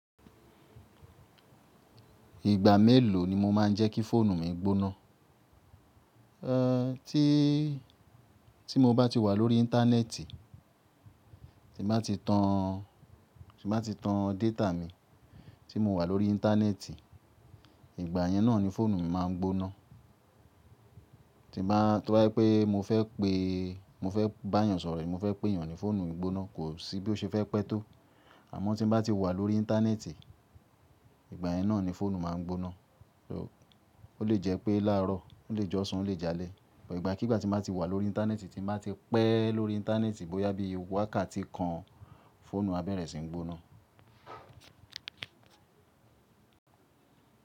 Ìgbà mélòó ni mo máa ń jẹ́ kí fóònù mi gbóná? Tí mo bá ti wà lórí íńtánẹ́ẹ̀tì, tí mo bá ti tan, tí mo bá ti tan data mi tí mo wà lórí íńtánẹ́ẹ̀tì, ìgbà yẹn náà ni fóònù mi máa ń gbóná. Tó jẹ́ pé mo fẹ́ pé, mo fẹ́ bá èèyàn sọ̀rọ̀, mo fẹ́ pé èèyàn ní fóònù gbóná, kò sí bí ó ṣe fẹ́ pẹ́ tó. Àmọ́ tí mo bá ti wà lórí íńtánẹ́ẹ̀tì, ìgbà yẹn náà ni fóònù máa ń gbóná. Ó lè jẹ́ pé láàárọ̀, ó lè jọ̀sàn, ó lè jálè, ìgbà kí ìgbà tí mo bá ti wà lórí íńtánẹ́ẹ̀tì, tí mo bá ti pẹ́ lórí íńtánẹ́ẹ̀tì bóyá bí i wákàtí kan, fóònù aberẹ̀ sì ń gbóná.